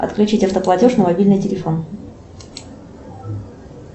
отключить автоплатеж на мобильный телефон